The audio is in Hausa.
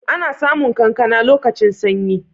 Ana samu kankana lokacin sanyi.